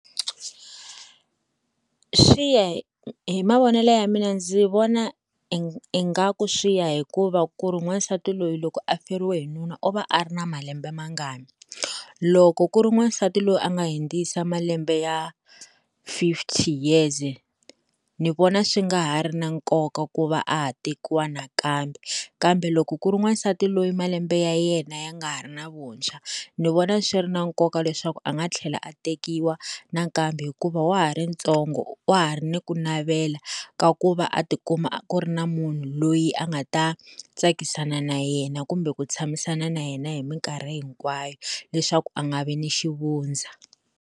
Swi ya hi hi mavonele ya mina ndzi vona i ingaku swi ya hi ku va ku ri wansati loyi loko a feriwe hi nuna u va a ri na malembe mangani loko ku ri n'wansati loyi a nga hindzisa malembe ya fifty years ni vona swi nga ha ri na nkoka ku va a ha tekiwa nakambe kambe loko ku ri wansati loyi malembe ya yena ya nga ha ri na vuntshwa ni vona swi ri na nkoka leswaku a nga tlhela a tekiwa nakambe hikuva wa ha ri ntsongo wa ha ri na ku navela ka ku va a tikuma a ku ri na munhu loyi a nga ta tsakisana na yena kumbe ku tshamisana na yena hi minkarhi hinkwayo leswaku a nga vi ni xivundza.